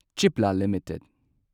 Cipla limited